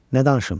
Nə danışım?